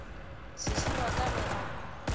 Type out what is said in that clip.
sesi wa ka ge a